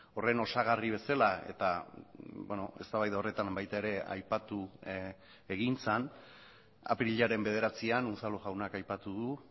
horren osagarri bezala eta eztabaida horretan baita ere aipatu egin zen apirilaren bederatzian unzalu jaunak aipatu du